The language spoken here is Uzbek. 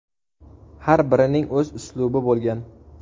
Har birining o‘z uslubi bo‘lgan.